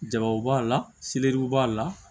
Jaw b'a la seleriw b'a la